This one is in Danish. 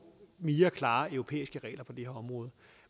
mere klare europæiske regler på det her område